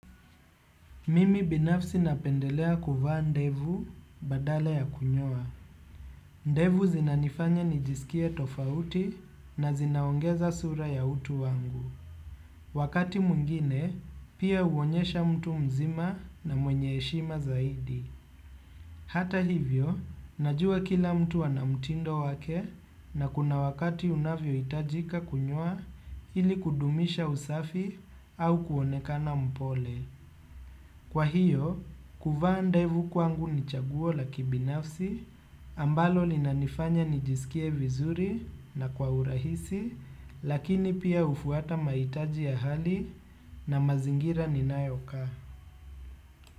Mimi binafsi napendelea kuvaa ndevu badala ya kunyoa. Ndevu zinanifanya nijisikie tofauti na zinaongeza sura ya utu wangu. Wakati mwingine, pia huonyesha mtu mzima na mwenye heshima zaidi. Hata hivyo, najua kila mtu ana mtindo wake na kuna wakati unavyo itajika kunyoa ili kudumisha usafi au kuonekana mpole. Kwa hiyo, kuvaa ndevu kwangu ni chaguo la kibinafsi, ambalo linanifanya nijisikie vizuri na kwa urahisi, lakini pia hufuata mahitaji ya hali na mazingira ninayoka.